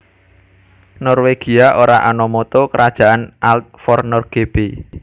Norwegia ora ana Motto kerajaan Alt for Norge b